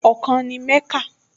Ọkàn ni Mẹ́kà